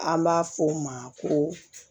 An b'a fɔ o ma ko